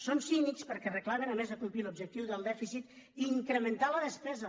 són cínics perquè reclamen a més de complir l’objec·tiu del dèficit incrementar la despesa